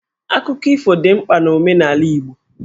Akụkọ ifo dị mkpa n'omenala Igbo.